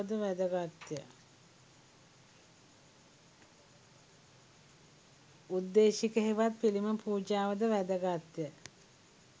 උද්දේශික හෙවත් පිළිම පූජාව ද වැදගත්ය.